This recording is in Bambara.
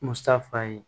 Musa fa ye